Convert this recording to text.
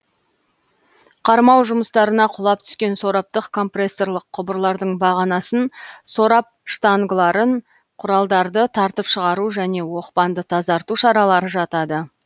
қармау жұмыстарына құлап түскен сораптық компрессорлық құбырлардың бағанасын сорап штангаларын құралдарды тартып шығару және оқпанды тазарту шаралары жатады